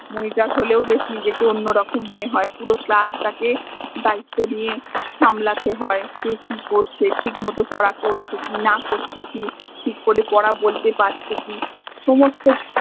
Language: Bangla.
monitor হলেও নিজেকে বেশ অন্য় রকম মনে হয়ে পুরো class টাকে দায়িত্ব নিয়ে সামলাতে হয়ে কে কি করছে ঠিক মত পরা করছে কি না করছে কি ঠিক করে পরা বলতে পারছে কি সমস্ত